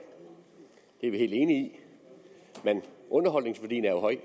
det er vi helt enige i men underholdningsværdien er høj